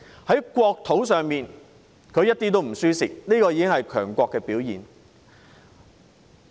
在國土方面，國家一點也不讓步，這已是強國的表現。